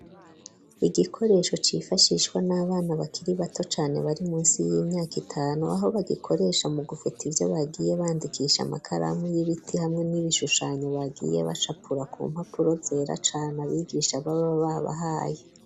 Igikoresho cifashishwa n'abana bakiri bato cane bari munsi y'imyaka itanu. Aho bagikoresha mu gufuta ivyo bagiye bandikisha makaramu y'ibiti hamwe n'ibishushanyo bagiye bacapura ku mpapuro zera cane abigisha baba babahaye.